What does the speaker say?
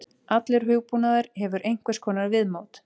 Allur hugbúnaður hefur einhvers konar viðmót.